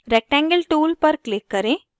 rectangle tool पर click करें